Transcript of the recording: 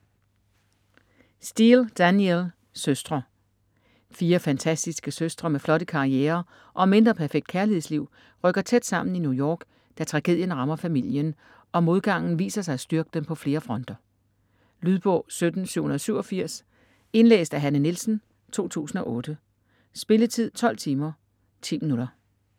Steel, Danielle: Søstre Fire fantastiske søstre med flotte karrierer og mindre perfekt kærlighedsliv rykker tæt sammen i New York, da tragedien rammer familien, og modgangen viser sig at styrke dem på flere fronter. Lydbog 17787 Indlæst af Hanne Nielsen, 2008. Spilletid: 12 timer, 10 minutter.